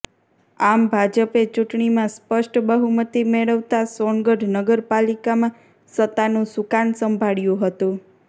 આમ ભાજપે ચૂંટણીમાં સ્પષ્ટ બહુમતી મેળવતા સોનગઢ નગરપાલિકામાં સત્તાનું સુકાન સંભાળ્યું હતું